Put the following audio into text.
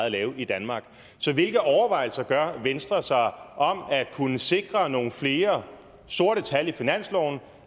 at lave i danmark så hvilke overvejelser gør venstre sig om at kunne sikre nogle flere sorte tal i finansloven